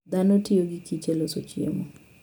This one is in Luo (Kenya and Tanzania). Dhano tiyo gi kich e loso chiemo.